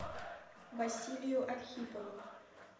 василию архипову